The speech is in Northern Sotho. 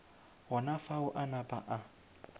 gona fao a napa a